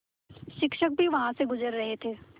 शिक्षक भी वहाँ से गुज़र रहे थे